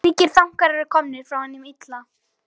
Slíkir þankar eru komnir frá hinum illa.